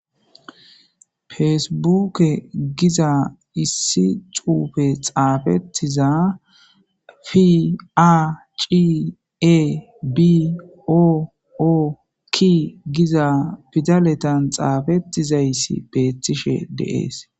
Feesebuke giza issi cuufe xaafettiza pia ciie bi o oki giza pidaletan xaafettizayssi beethtishe deees.